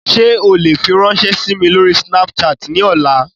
Ṣe o le firanṣẹ si mi lori Snapchat ni ọla?